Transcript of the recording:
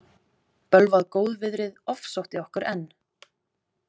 Bölvað góðviðrið ofsótti okkur enn.